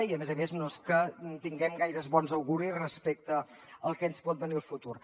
i a més a més no és que tinguem gaires bons auguris respecte al que ens pot venir al futur